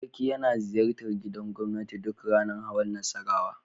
Sarki yana ziyartar gidan gobnati duk ranar hawan Nassarawa.